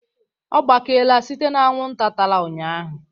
Ọ gbakeela site na anwụnta tara ụnyahụ